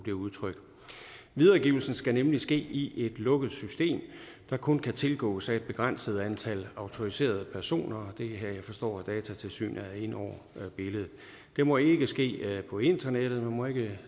det udtryk videregivelsen skal nemlig ske i et lukket system der kun kan tilgås af et begrænset antal autoriserede personer jeg forstår at datatilsynet er inde over billedet det må ikke ske på internettet man må ikke